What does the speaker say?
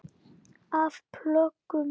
Af plöggum